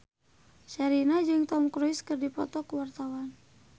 Sherina jeung Tom Cruise keur dipoto ku wartawan